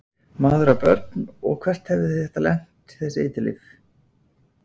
Maður á börn og hvert hefði þetta lent, þessi eiturlyf?